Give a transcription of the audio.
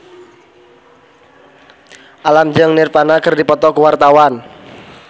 Alam jeung Nirvana keur dipoto ku wartawan